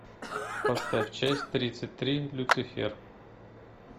поставь часть тридцать три люцифер